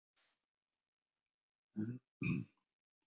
Ég hélt að þér þætti svo gott að kúra á laugardögum.